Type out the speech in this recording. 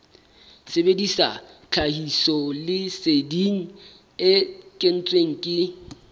sebedisa tlhahisoleseding e kentsweng ke